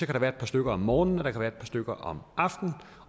kan være et par stykker om morgenen og der kan være et par stykker om aftenen